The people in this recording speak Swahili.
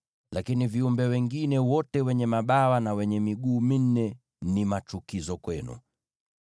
Lakini viumbe wengine wote wenye mabawa na wenye miguu minne ni machukizo kwenu.